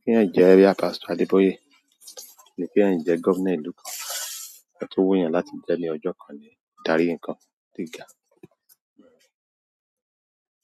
Kí ẹ̀yan jẹ́ boya Pastor Adeboye, àbí ki èyan jẹ́ governor ìlú kan. Ọhun tọ̀ wù yàn láti jẹ́ ní ọjọ́ kan ni darí ǹkan gíga.